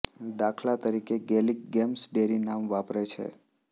દાખલા તરીકે Gaelic games Derry નામ વાપરે છે